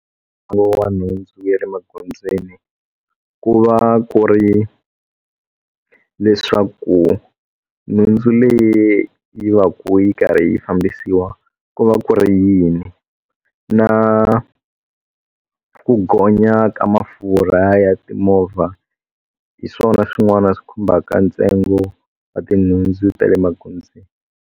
Ntsengo wa nhundzu ya le magondzweni ku va ku ri leswaku nhundzu leyi yi va ku yi karhi yi fambisiwa ku va ku ri yini na ku gonya ka mafurha ya timovha hi swona swin'wana swi khumbaka ntsengo wa tinhundzu ta le magondzweni.